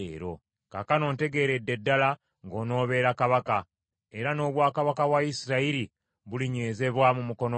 Kaakano ntegeeredde ddala ng’onoobeera kabaka, era n’obwakabaka bwa Isirayiri bulinywezebwa mu mukono gwo.